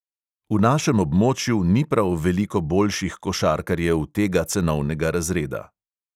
V našem območju ni prav veliko boljših košarkarjev tega cenovnega razreda.